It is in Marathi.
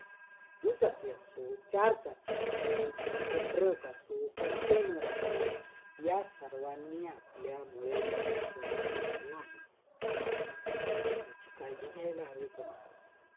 दुचाकी असो, चारचाकी असतो, मोठे ट्रक असो container असो या सर्वांनी आपल्यामुळे प्रदूषण होणार नाही याची काळजी घ्यायला हवी का